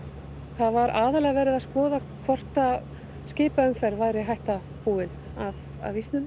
það var aðallega verið að skoða hvort skipaumferð væri hætta búin af ísnum